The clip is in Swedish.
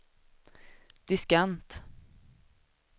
diskant